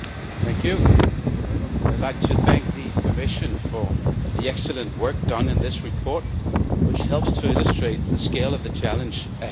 Mr President, I would like to thank the Commission for the excellent work done in this report, which helps to illustrate the scale of the challenge ahead of us.